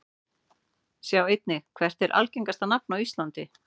Sjá einnig: Hvert er algengasta nafn á íslandi?